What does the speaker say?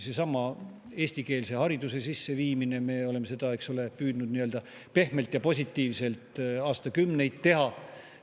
Seesama eestikeelse hariduse sisseviimine – me oleme aastakümneid püüdnud seda pehmelt ja positiivselt teha.